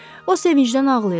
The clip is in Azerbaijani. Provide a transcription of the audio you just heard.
O sevincdən ağlayırdı.